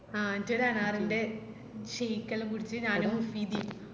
ആ എന്നിറ്റൊരനാറിന്റെ shake എല്ലാം കുടിച് ഞാനും നിധിയും